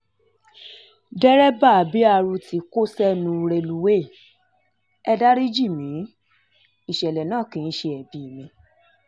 dereba bret tó kó sẹ́nu rélùwéè e dárí jì mí ìṣẹ̀lẹ̀ náà kì í ṣe ẹbí mi